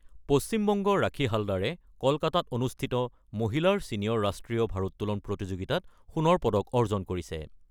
পশ্চিম বংগৰ ৰাখি হালদাৰে কলকাতাত অনুষ্ঠিত মহিলাৰ ছিনিয়ৰ ৰাষ্ট্ৰীয় ভাৰত্তোলন প্ৰতিযোগিতাত সোণৰ পদক অৰ্জন কৰিছে।